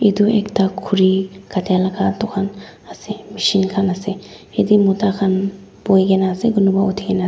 itu ekta khuri katia laga dukan ase machine khan ase yate mota khan buhi kena ase kunuba uthi kena--